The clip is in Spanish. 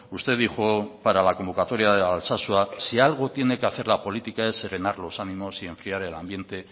usted dijo para la convocatoria de alsasua si algo tiene que hacer la política es serenar los ánimos y enfriar el ambiente